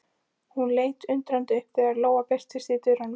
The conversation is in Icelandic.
Hún leit undrandi upp þegar Lóa birtist í dyrunum.